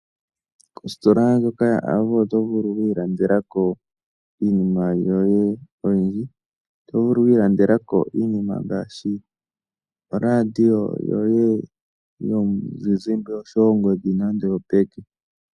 Kositola ndjoka yaAvo oto vulu oku ilandela ko iinima yoye oyindji. Oto vulu oku ilandela ko iinima ngaashi oradio yoye yomuzizimba osho wo ongodhi nando oyopeke.